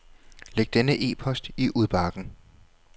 Læg denne e-post i udbakken.